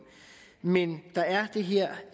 men der er det her